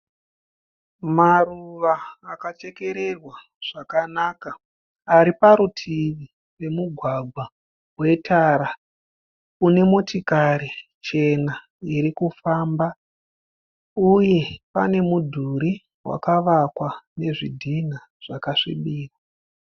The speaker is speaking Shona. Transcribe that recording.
Maruva akachekererwa zvakanaka. Ari parutivi pemugwagwa wetara une motikari chena iri kufamba uye pane mudhuri wakavakwa nezvidhina zvakasvibira.